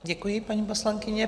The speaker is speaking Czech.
Děkuji, paní poslankyně.